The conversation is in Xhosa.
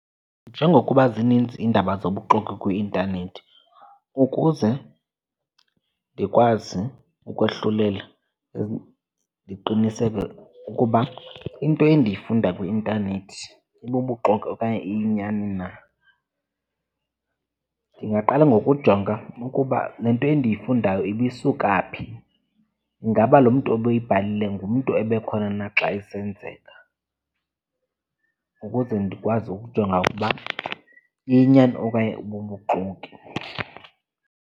Njengokuba zininzi iindaba zobuxoki kwi-intanethi, ukuze ndikwazi ukohlulela ndiqiniseke ukuba into endiyifunda kwi-intanethi ibubuxoki okanye iyinyani na, ndingaqala ngokujonga ukuba le nto endiyifundayo ibisuka phi. Ingaba lo mntu obeyibhale ngumntu ebekhona na xa isenzeka? Ukuze ndikwazi ukujonga ukuba iyinyani okanye ibubuxoki.